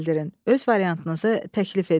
Öz variantınızı təklif edin.